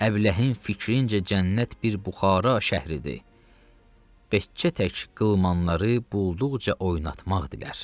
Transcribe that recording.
Əbləhin fikrincə cənnət bir buxara şəhridir, bəkçə tək qılmanları bulduqca oynatmaq dilər.